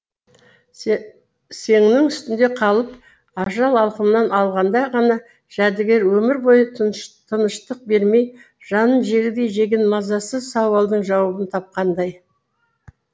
сенің үстінде қалып ажал алқымнан алғанда ғана жәдігер өмір бойы тыныштық бермей жанын жегідей жеген мазасыз сауалдың жауабын тапқандай